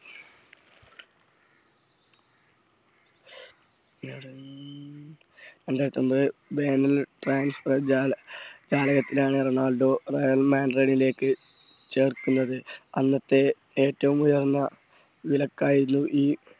രണ്ടായിരത്തി ഒൻപത് ജാലകത്തിലാണ് റൊണാൾഡോ റെയർ മാൻ റൺ ലേക്ക് ചേർക്കുന്നത് അന്നത്തെ ഏറ്റവും ഉയർന്നവിലക്കായിരുന്നു ഈ